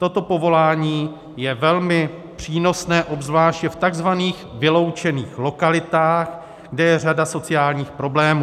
Toto povolání je velmi přínosné, obzvláště v tzv. vyloučených lokalitách, kde je řada sociálních problémů.